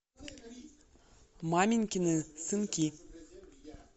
маменькины сынки